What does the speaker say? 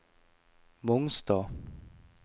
Mongstad